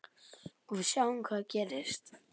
Og við sjáum hvað gerist.